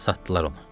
Satdılar onu.